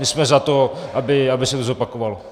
My jsme za to, aby se to zopakovalo.